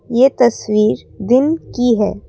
ये तस्वीर दिन की है।